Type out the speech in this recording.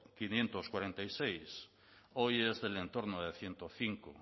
quinientos cuarenta y seis hoy es del entorno de ciento cinco